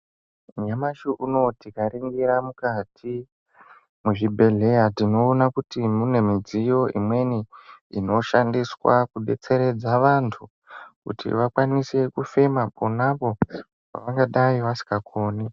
Nyamashi uno tikaringira mukati mwezvibhedhlera tinoona kuti mune midziyo imweni inoshandiswa kudetseredza vantu kuti vakwanise kufema ponapo pevangadai vasikakoni.